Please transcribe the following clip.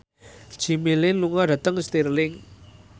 Jimmy Lin lunga dhateng Stirling